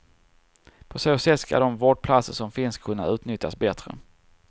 På så sätt ska de vårdplatser som finns kunna utnyttjas bättre.